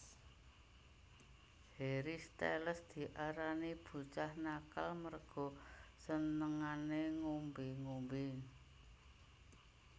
Harry Styles diarani bocah nakal merga senengane ngombe ngombe